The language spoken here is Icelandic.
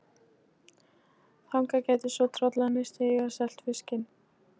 Þangað gætu svo trollararnir siglt og selt fiskinn.